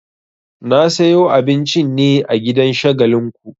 Na sayo abincin ne a gidan Shagalinku.